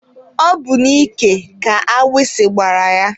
Ọ bụ n'ike ka agbisi gbara ya.